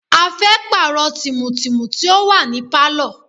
A fẹ́ pààrọ̀ tìmù tìmù tí ó wà ní Pálọ̀.